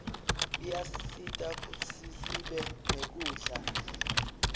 iyasisita kutsisibe nekudla